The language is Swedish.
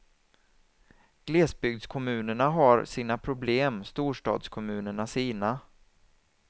Glesbygdskommunerna har sina problem, storstadskommunerna sina.